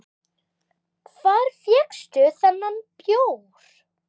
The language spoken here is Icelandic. Hvar fékkstu þennan bjór?